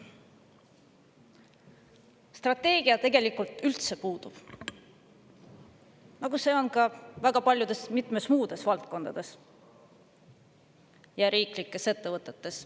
Strateegia tegelikult üldse puudub, nagu see on ka väga paljudes muudes valdkondades ja riiklikes ettevõtetes.